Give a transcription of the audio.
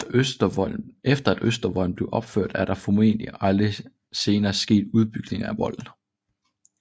Efter at Østervolden blev opført er der formodentlig aldrig senere sket udbygninger af volden